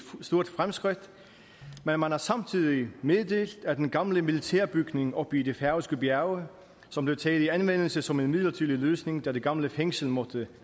stort fremskridt men man har samtidig meddelt at den gamle militærbygning oppe i de færøske bjerge som blev taget i anvendelse som en midlertidig løsning da det gamle fængsel måtte